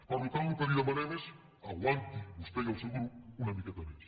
per tant el que li demanem és aguantin vostè i el seu grup una miqueta més